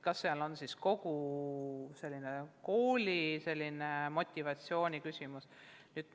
Küsida võib, kas probleem on üldse õpimotivatsioonis.